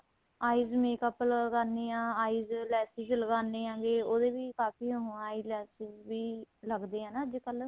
eyes makeup ਲਗਾਣੇ ਹਾਂ eyes lenses ਲਗਾਣੇ ਹੈਗੇ ਹਾਂ ਉਹਦੇ ਵੀ ਕਾਫ਼ੀ ਉਹ eye lens ਲਗਦੇ ਏ ਨਾ ਅੱਜਕਲ